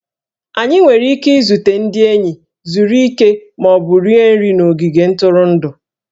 Anyị nwere ike izute ndị enyi, zuru ike, ma ọ bụ rie nri n'ogige ntụrụndụ